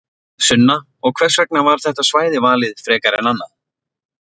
Sunna: Og hvers vegna var þetta svæði valið frekar en annað?